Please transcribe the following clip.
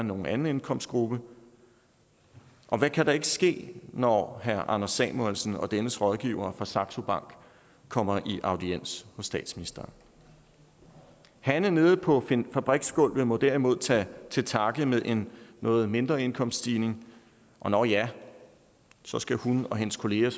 nogen anden indkomstgruppe og hvad kan der ikke ske når herre anders samuelsen og dennes rådgivere fra saxo bank kommer i audiens hos statsministeren hanne nede på fabriksgulvet må derimod tage til takke med en noget mindre indkomststigning nå ja så skal hun og hendes kollegaer